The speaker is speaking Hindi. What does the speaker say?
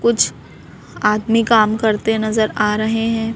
कुछ आदमी काम करते नजर आ रहे हैं।